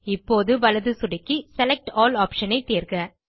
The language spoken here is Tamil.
இப்போது வலது சொடுக்கி செலக்ட் ஆல் ஆப்ஷன் ஐ தேர்க